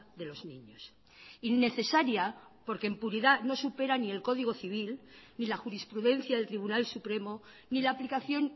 de los niños innecesaria porque impunidad no supera ni el código civil ni la jurisprudencia del tribunal supremo ni la aplicación